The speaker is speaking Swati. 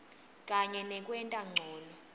kanye nekwenta ncono